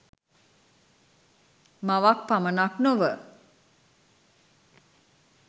මවක් පමණක් නොව